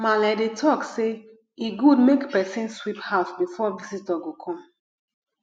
maale dey talk sey e good make pesin sweep house before visitor go come